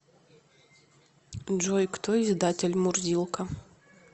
джой кто издатель мурзилка